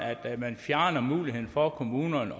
at man fjerner muligheden for kommunerne